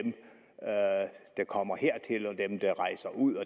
der kommer hertil og dem der rejser ud